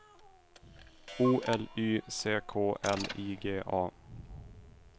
O L Y C K L I G A